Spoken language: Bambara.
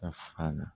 Ka fa na